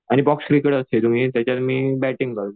आणि box cricket असते त्याच्यात मी बॅटिंग करतो.